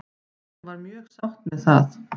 Hún var mjög sátt með það.